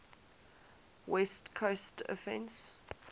west coast offense